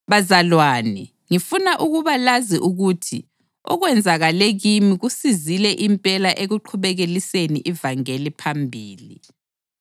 Bazalwane, ngifuna ukuba lazi ukuthi okwenzakale kimi kusizile impela ekuqhubekeliseni ivangeli phambili.